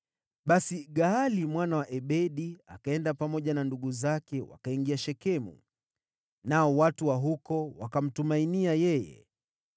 Basi Gaali mwana wa Ebedi akaenda pamoja na ndugu zake wakaingia Shekemu, nao watu wa huko wakamtumainia yeye.